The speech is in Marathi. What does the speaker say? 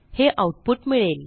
हे आऊटपुट मिळेल